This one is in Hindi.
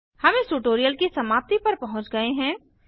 हम इस ट्यूटोरियल की समाप्ति पर पहुँच गए हैं